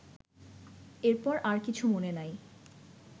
এরপর আর কিছু মনে নাই